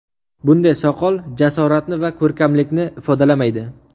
Bunday soqol jasoratni va ko‘rkamlikni ifodalamaydi !